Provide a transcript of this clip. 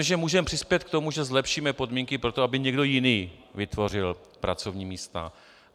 Myslím, že můžeme přispět k tomu, že zlepšíme podmínky pro to, aby někdo jiný vytvořil pracovní místa.